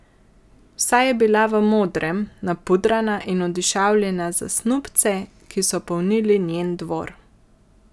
Vsa je bila v modrem, napudrana in odišavljena za snubce, ki so polnili njen dvor.